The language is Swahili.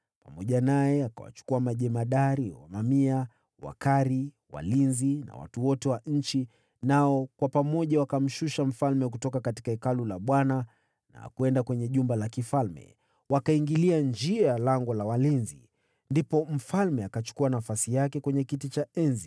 Pamoja naye akawachukua majemadari wa mamia, Wakari, walinzi na watu wote wa nchi, nao kwa pamoja wakamteremsha mfalme kutoka Hekalu la Bwana na kwenda kwenye jumba la mfalme, wakiingilia njia ya lango la walinzi. Ndipo mfalme akachukua nafasi yake kwenye kiti cha enzi,